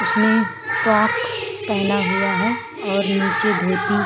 उसने फ़्रोक पहना हुआ है और नीचे धोती।